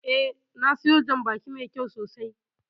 Eh, na siyo jan baki mai kyau sosai